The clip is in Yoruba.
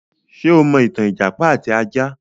Ṣé o mọ ìtàn ìjàpá àti ajá?